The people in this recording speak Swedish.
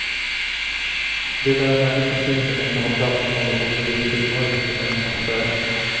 Det är en människosyn som inte har plats för något obegripligt mörker i människans själ.